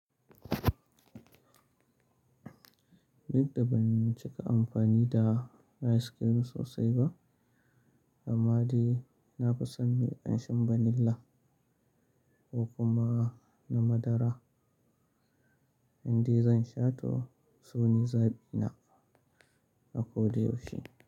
Duk da ban cika amfani da ice cream sosai ba, amma dai na fi son mai ƙanshin vanilla ko kuma na madara, inda zan sha to sune zaɓi na a ko da yaushe.